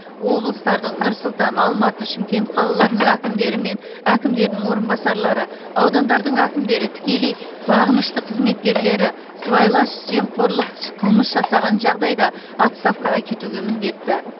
облыстардың нұр сұлтан алматы шымкент қалаларының әкімдері мен әкімдерінің орынбасарлары аудандардың әкімдері тікелей бағынышты қызметкерлері сыбайлас жемқорлық қылмыс жасаған жағдайда отставкаға кетуге міндетті